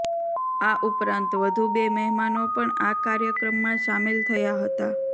આ ઉપરાંત વધુ બે મહેમાનો પણ આ કાર્યક્રમમાં સામેલ થયા હતા